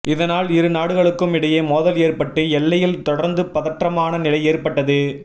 இதனால் இரு நாடுகளுக்கும் இடையே மோதல் ஏற்பட்டு எல்லையில் தொடர்ந்து பதற்றமான நிலை ஏற்பட்டது